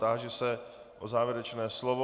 Táži se na závěrečné slovo.